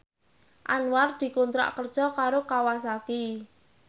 Anwar dikontrak kerja karo Kawasaki